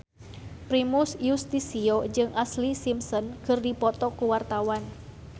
Primus Yustisio jeung Ashlee Simpson keur dipoto ku wartawan